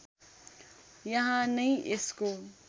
यहाँ नै यसको